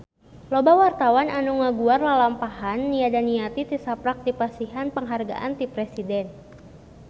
Loba wartawan anu ngaguar lalampahan Nia Daniati tisaprak dipasihan panghargaan ti Presiden